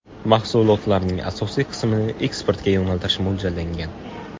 Mahsulotlarning asosiy qismini eksportga yo‘naltirish mo‘ljallangan.